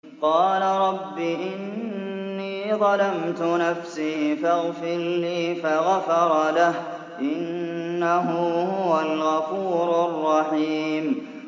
قَالَ رَبِّ إِنِّي ظَلَمْتُ نَفْسِي فَاغْفِرْ لِي فَغَفَرَ لَهُ ۚ إِنَّهُ هُوَ الْغَفُورُ الرَّحِيمُ